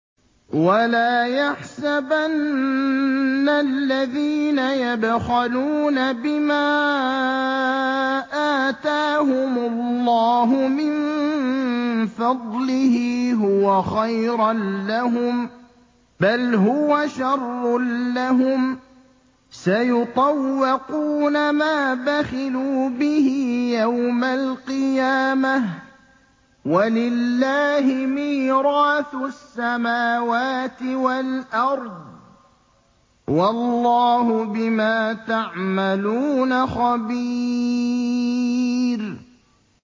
وَلَا يَحْسَبَنَّ الَّذِينَ يَبْخَلُونَ بِمَا آتَاهُمُ اللَّهُ مِن فَضْلِهِ هُوَ خَيْرًا لَّهُم ۖ بَلْ هُوَ شَرٌّ لَّهُمْ ۖ سَيُطَوَّقُونَ مَا بَخِلُوا بِهِ يَوْمَ الْقِيَامَةِ ۗ وَلِلَّهِ مِيرَاثُ السَّمَاوَاتِ وَالْأَرْضِ ۗ وَاللَّهُ بِمَا تَعْمَلُونَ خَبِيرٌ